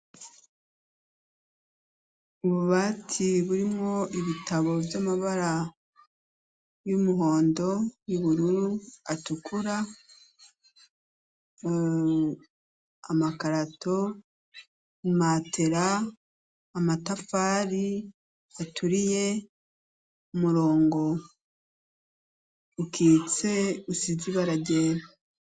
Ububati burimwo ibitabo vy'amabara y'umuhondo ,y'ubururu, atukura ,eeee amakarato ,imatera, amatafari aturiye ,umurongo ukitse usize ibara ryera.